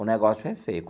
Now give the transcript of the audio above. O negócio é feio.